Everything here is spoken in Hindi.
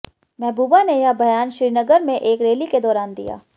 महबूबा ने यह बयान श्रीनगर में एक रैली के दौरान दिया